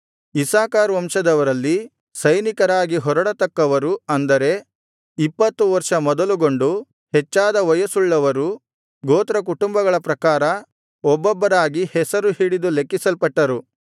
Issachar ವಂಶದವರಲ್ಲಿ ಸೈನಿಕರಾಗಿ ಹೊರಡತಕ್ಕವರು ಅಂದರೆ ಇಪ್ಪತ್ತು ವರ್ಷ ಮೊದಲುಗೊಂಡು ಹೆಚ್ಚಾದ ವಯಸ್ಸುಳ್ಳವರು ಗೋತ್ರಕುಟುಂಬಗಳ ಪ್ರಕಾರ ಒಬ್ಬೊಬ್ಬರಾಗಿ ಹೆಸರು ಹಿಡಿದು ಲೆಕ್ಕಿಸಲ್ಪಟ್ಟರು